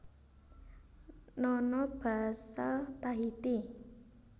Nono basa Tahiti